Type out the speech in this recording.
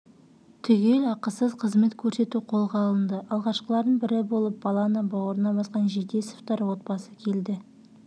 түгел ақысыз қызмет көрсету қолға алынды алғашқылардың бірі болып баланы бауырына басқан жетесовтер отбасы келді